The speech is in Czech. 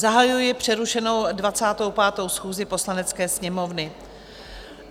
Zahajuji přerušenou 25. schůzi Poslanecké sněmovny.